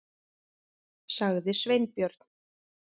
.- sagði Sveinbjörn.